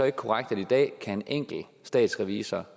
ikke korrekt at en enkelt statsrevisor